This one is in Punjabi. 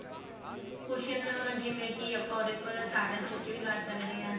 cushion ਜਿਵੇਂ ਕੀ ਆਪਾਂ ਉਹਦੇ ਉੱਪਰ tartan stitch ਵੀ ਮਾਰ ਸਕਦੇ ਹਾਂ